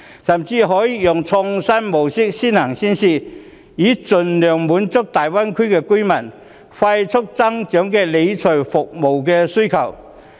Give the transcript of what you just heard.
甚至可以用創新模式作先行先試，盡量滿足大灣區居民迅速增長的理財服務需求。